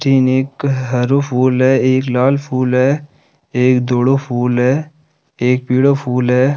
तीन एक हरो फूल है एक लाल फूल है एक धोलो फूल है एक पिलो फूल है।